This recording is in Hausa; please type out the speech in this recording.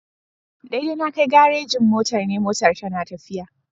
Daidai na Kai garejin motar NE motar tana tafiya.